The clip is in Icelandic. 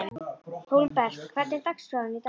Hólmbert, hvernig er dagskráin í dag?